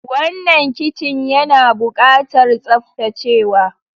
Wannan kicin yana ɓukatar tsaftacewa.